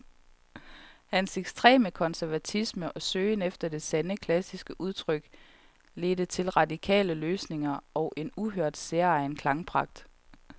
Hans ekstreme konservatisme og søgen efter det sande, klassiske udtryk ledte til radikale løsninger og en uhørt, særegen klangpragt.